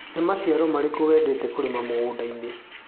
Nĩ maciaro marĩkũ wendete kũrĩma mũgũndainĩ.